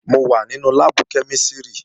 Mo wà nínú láàbù kẹ́mísìrì